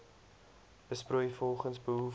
besproei volgens behoefte